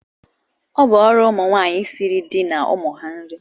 Ọ bụ ọrụ ụmụnwaanyị isiri di na ụmụ ha nri